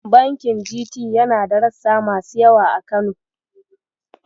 Bankin GT yana da rassa masu yawa a Kano.